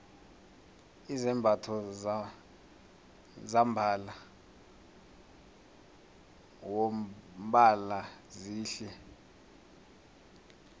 izambatho zombala wombhalo zihle